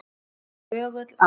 Nú er hörgull á